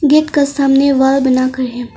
Gate का सामने वह बनाकर है।